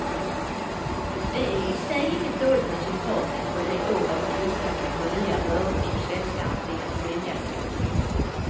Det är i sig inget dåligt resultat efter de år av krispaket och nya bördor som svenskarna tvingats vänja sig vid.